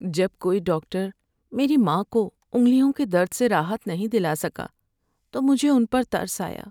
جب کوئی ڈاکٹر میری ماں کو انگلیوں کے درد سے راحت نہیں دلا سکا تو مجھے ان پر ترس آیا۔